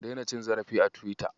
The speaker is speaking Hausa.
Ka daina cin zarafi a Tiwita.